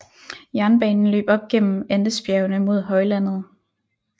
Jernbanen løb op gennem Andesbjergene mod højlandet